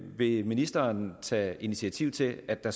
vil ministeren tage initiativ til at der